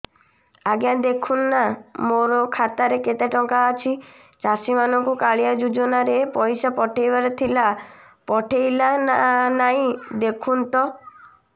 ଆଜ୍ଞା ଦେଖୁନ ନା ମୋର ଖାତାରେ କେତେ ଟଙ୍କା ଅଛି ଚାଷୀ ମାନଙ୍କୁ କାଳିଆ ଯୁଜୁନା ରେ ପଇସା ପଠେଇବାର ଥିଲା ପଠେଇଲା ନା ନାଇଁ ଦେଖୁନ ତ